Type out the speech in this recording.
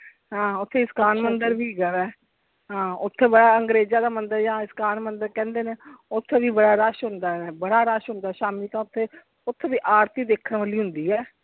ਹਾਂ ਓਥੇ ਮੰਦਿਰ ਵੀ ਹੈਗਾ ਵਾ ਹਾਂ ਓਥੇ ਬੜਾ ਅੰਗਰੇਜਾਂ ਦਾ ਮੰਦਿਰ ਜਾ ਇਸਕਾਨ ਮੰਦਿਰ ਕਹਿੰਦੇ ਨੇ ਓਥੇ ਵੀ ਬੜਾ ਰੱਸ ਹੁੰਦਾ ਵ ਬੜਾ ਰੱਸ ਹੁੰਦਾ ਸ਼ਾਮੀ ਤਾਂ ਓਥੇ ਓਥੇ ਦੀ ਆਰਤੀ ਦੇਖਣ ਵਾਲੀ ਹੁੰਦੀ ਹੈ।